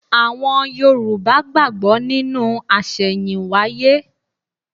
Àwọn Yorùbá gbàgbọ́ nínú àṣẹ̀yìnwáyé.